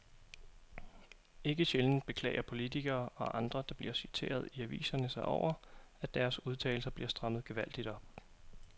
Ikke sjældent beklager politikere og andre, der bliver citeret i aviserne sig over, at deres udtalelser bliver strammet gevaldigt op.